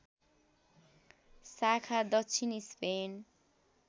शाखा दक्षिण स्पेन